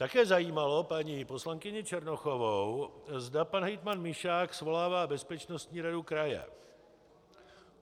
Také zajímalo paní poslankyni Černochovou, zda pan hejtman Mišák svolává bezpečnostní radu kraje.